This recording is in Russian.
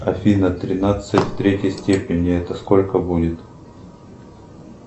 афина тринадцать в третьей степени это сколько будет